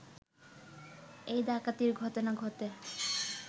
এ ডাকাতির ঘটনা ঘটে